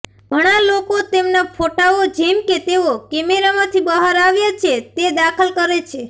ઘણાં લોકો તેમના ફોટાઓ જેમ કે તેઓ કૅમેરામાંથી બહાર આવ્યા છે તે દાખલ કરે છે